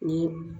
Ni